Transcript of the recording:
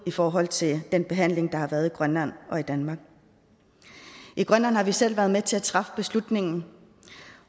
i forhold til den behandling der både har været i grønland og i danmark i grønland har vi selv været med til at træffe beslutningen